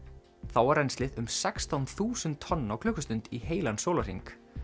þá var rennslið um sextán þúsund tonn á klukkustund í heilan sólarhring